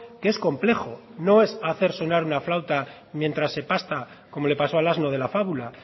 que es complejo no es hacer sonar una flauta mientras se pasta como le pasó al asno de la fábula